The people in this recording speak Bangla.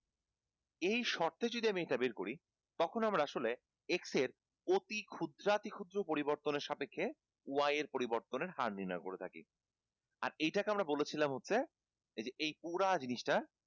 এই শর্তে যদি আমি এটা বের করি তখন আমরা আসলে x এর অতি ক্ষুদ্রাতি ক্ষুদ্র পরিবর্তনের সাপেক্ষে y এর পরিবর্তনের হার নির্নয় করে থাকি আর এটা কে আমরা বলেছিলাম হচ্ছে এই যে এই পুরা জিনিষটা